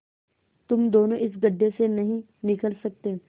तुम दोनों इस गढ्ढे से नहीं निकल सकते